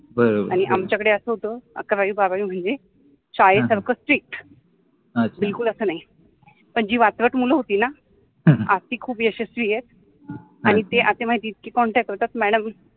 आणि आमच्याकडे अस होत अकरावि बारावि म्हनजे शाळेसारख स्ट्रिक्ट अच्छा जि वातरट मुल होति न आज ति खुप यशस्वि आहेत आणि ते असे माहिति आहे इतके कॉन्टॅक्ट ठेवतात कि मॅड्म